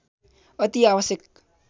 अति आवश्यक